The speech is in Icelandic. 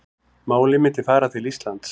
Málið myndi fara til Íslands